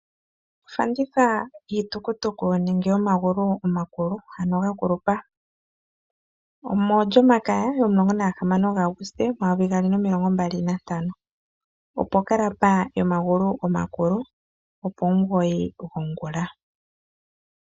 Ofanditha yiitukutuku nenge yomagulu omakulu ano ga kulupa. Omolyomakaya yomulongo na gahamano gaAuguste omayovi gaali nomilongo mbali nantano opo kalaba yomagulu omakulu opomugoyi gongula.